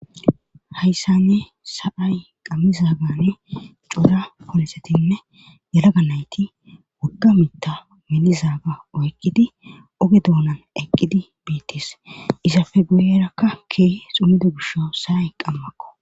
hayssanne sa7ay qammizaagane cuura ponxetinne yelaga nayti wogga mitta melizaaga oyqqidi oge dounan eqqidi biittis isafe guyerakka kee xumido gisho sa7ay qammakko